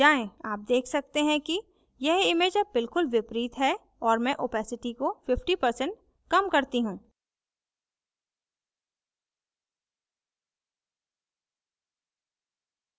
आप देख सकते हैं कि यह image अब बिलकुल विपरीत है और मैं opacity को 50% कम करती you